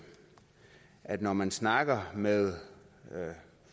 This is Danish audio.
at når man snakker med